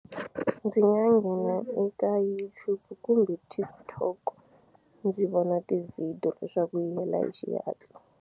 Ndzi nga nghena eka YouTube kumbe TikTok ndzi vona ti-video leswaku yi hela hi xihatla.